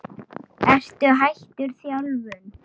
Ertu hættur þjálfun?